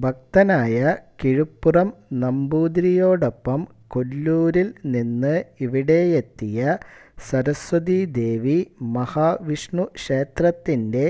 ഭക്തനായ കിഴുപ്പുറം നമ്പൂതിരിയോടൊപ്പം കൊല്ലൂരിൽ നിന്ന് ഇവിടെയെത്തിയ സരസ്വതീദേവി മഹാവിഷ്ണുക്ഷേത്രത്തിന്റെ